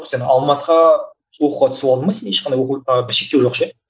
ы сен алматыға оқуға түсіп алдың ба сен ешқандай оқу шектеу жоқ ше